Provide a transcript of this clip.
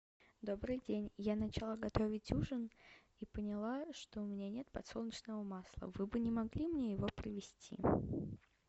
добрый день я начала готовить ужин и поняла что у меня нет подсолнечного масла вы бы не могли мне его привезти